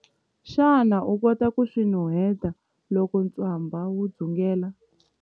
Xana u kota ku swi nuheta loko ntswamba wu dzungela?